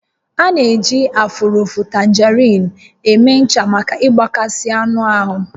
A na-eji afụrịfụ tangerine eme ncha maka mgbakasị anụ ahụ